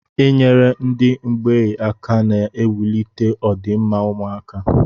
I nyere ndị mgbei aka na-ewulite ọ dị mma ụmụaka.